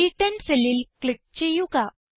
C10 cellൽ click ചെയ്യുക